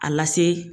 A lase